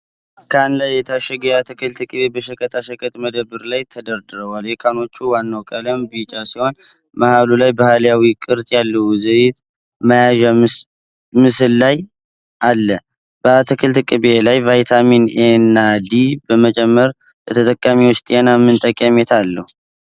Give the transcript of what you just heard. ካን ላይ የታሸገ የአትክልት ቅቤ በሸቀጣሸቀጥ መደርደሪያ ላይ ተደራርቡዋል። የካኖቹ ዋናው ቀለም ቢጫ ሲሆን፣ መሃሉ ላይ ባህላዊ ቅርጽ ያለው የዘይት መያዣ ምስል ላይ አል። በአትክልት ቅቤ ላይ ቫይታሚን ኤና ዲ መጨመር ለተጠቃሚዎች ጤና ምን ጠቀሜታ አለው?